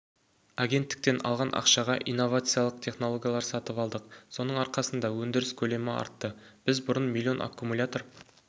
агенттіктен алған ақшаға инновациялық технологиялар сатып алдық соның арқасында өндіріс көлемі артты біз бұрын млн аккумулятор